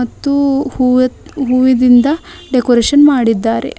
ಮತ್ತು ಹೂವತ್ ಹೂವಿನಿಂದ ಡೆಕೋರೇಷನ್ ಮಾಡಿದ್ದಾರೆ.